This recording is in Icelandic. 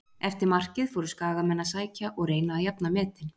Eftir markið fóru skagamenn að sækja og reyna að jafna metin.